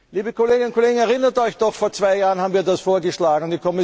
Liebe Kolleginnen und Kollegen, erinnert Euch doch Vor zwei Jahren haben wir das vorgeschlagen.